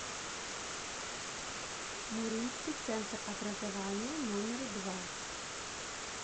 муринский центр образования номер два